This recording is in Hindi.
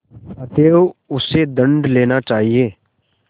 अतएव उससे दंड लेना चाहिए